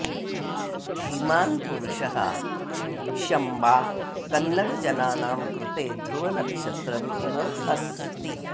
धीमान् पुरुषः शम्बा कन्नड जनानां कृते ध्रुवनक्षत्रम् इव अस्ति